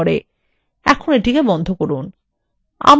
এখন এটি বন্ধ করুন